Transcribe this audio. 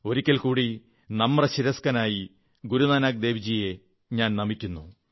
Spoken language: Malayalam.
ഒരിക്കൽ കൂടി നമ്രശിരസ്കനായി ഗുരുനാനക്ദേവ്ജിയെ നമിക്കുന്നു